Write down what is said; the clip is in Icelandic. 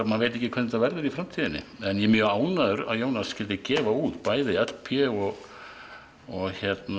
maður veit ekki hvernig þetta verður í framtíðinni en ég er mjög ánægður með að Jónas skyldi gefa út bæði l p og og